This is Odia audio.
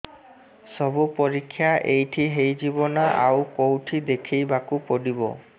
ସବୁ ପରୀକ୍ଷା ଏଇଠି ହେଇଯିବ ନା ଆଉ କଉଠି ଦେଖେଇ ବାକୁ ପଡ଼ିବ